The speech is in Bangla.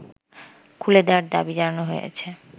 খুলে দেয়ার দাবি জানানো হয়েছে